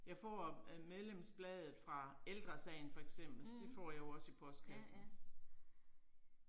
Jeg får øh medlemsbladet fra Ældresagen for eksempel, det får jeg jo også i postkassen